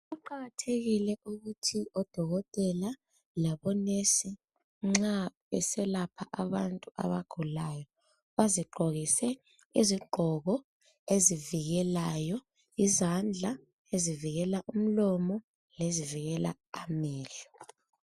Kuqakathekile ukuthi nxa odokotela labonesi nxa beselapha abantu abagulayo bazigqokise izigqoko ezivilelayo izandla, ezivikela umlomo lezivikela amehlo.